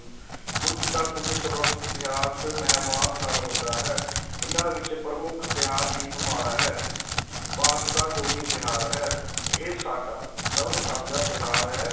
ਕੁੱਝ ਦਾ ਕੁੱਝ ਸੰਬੰਧ ਇਤਿਹਾਸ, ਮਹਿਮਾਸ ਨਾਲ ਹੁੰਦਾ ਹੈ ਇਨ੍ਹਾਂ ਵਿੱਚ ਪ੍ਰਮੁੱਖ ਤਿਉਹਾਰ ਦੀਪਮਾਲਾ ਹੈ ਭਾਰਤ ਦਾ ਕੌਮੀ ਤਿਉਹਾਰ ਹੈ, ਇਹ ਸਾਡਾ ਸਰਬ ਸਾਂਝਾ ਤਿਉਹਾਰ ਹੈ